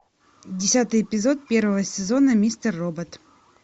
десятый эпизод первого сезона мистер робот